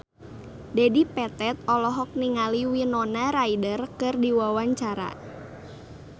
Dedi Petet olohok ningali Winona Ryder keur diwawancara